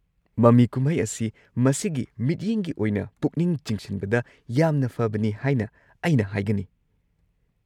ꯃꯃꯤ ꯀꯨꯝꯍꯩ ꯑꯁꯤ ꯃꯁꯤꯒꯤ ꯃꯤꯠꯌꯦꯡꯒꯤ ꯑꯣꯏꯅ ꯄꯨꯛꯅꯤꯡ ꯆꯤꯡꯁꯤꯟꯕꯗ ꯌꯥꯝꯅ ꯐꯕꯅꯤ ꯍꯥꯏꯅ ꯑꯩꯅ ꯍꯥꯏꯒꯅꯤ꯫